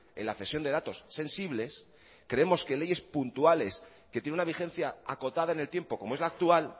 en la cesión de datos sensibles creemos que leyes puntuales que tiene una vigencia acotada en el tiempo como es la actual